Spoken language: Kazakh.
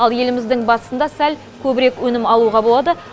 ал еліміздің батысында сәл көбірек өнім алуға болады